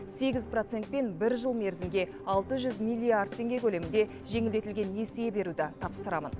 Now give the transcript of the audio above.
сегіз процентпен бір жыл мерзімге алты жүз миллиард теңге көлемінде жеңілдетілген несие беруді тапсырамын